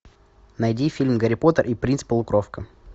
найди фильм гарри поттер и принц полукровка